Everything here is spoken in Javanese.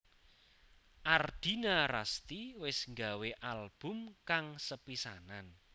Ardina Rasti wis nggawé album kang sepisanan